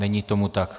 Není tomu tak.